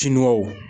Tiniw